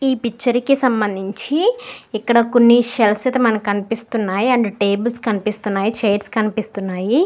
ఈ పిక్చర్ కి సంభందించి ఇక్కడ కొన్ని షెల్ఫ్ అయితే మనకి కనిపిస్తున్నాయ్ అండ్ టేబల్స్ కనిపిస్తున్నాయ్ చాయిరస్ కనిపిస్తున్నాయ్.